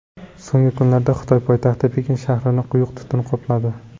So‘nggi kunlarda Xitoy poytaxti Pekin shahrini quyuq tutun qopladi.